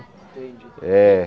Entendi. Eh